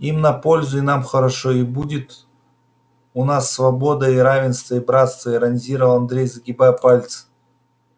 и им на пользу и нам хорошо и будут у нас свобода и равенство и братство иронизировал андрей загибая пальцы